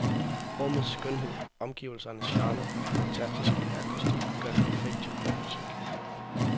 Rummets skønhed, omgivelsernes charme og den fantastiske akustik gør det perfekt til kormusik.